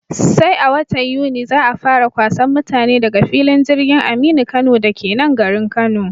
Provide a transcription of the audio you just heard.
Sai a watan Yuni za'a fara kwasan mutane daga filin jirgin Aminu Kano dake nan garin Kano